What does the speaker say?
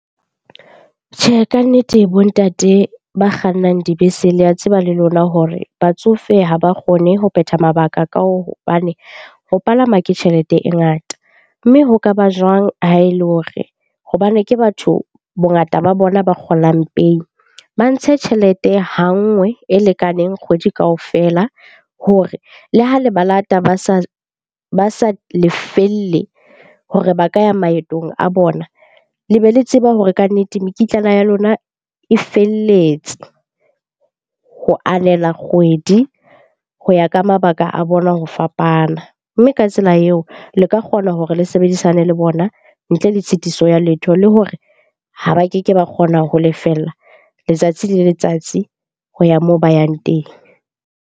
Tjhehe, kannete bo ntate ba kgannang dibese le a tseba le lona hore batsofe ha ba kgone ho phetha mabaka ka hobane ho palama ke tjhelete e ngata. Mme ho kaba jwang ha e le hore hobane ke batho bongata ba bona ba kgolang pehi. Ba ntshe tjhelete ha nngwe e lekaneng kgwedi kaofela hore le ha le ba lata ba sa lefelle hore ba ka ya maetong a bona, le be le tseba hore kannete mekitlana ya lona e felletse ho anela kgwedi, ho ya ka mabaka a bona ho fapana. Mme ka tsela eo, le ka kgona hore le sebedisane le bona ntle le tshitiso ya letho le hore ha ba keke ba kgona ho lefella letsatsi le letsatsi ho ya moo ba yang teng.